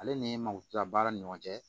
Ale ni makodila baara ni ɲɔgɔn cɛ